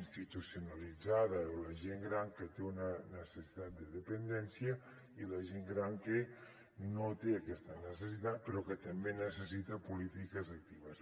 institucionalitzada o la gent gran que té una necessitat de dependència i la gent gran que no té aquesta necessitat però que també necessita polítiques actives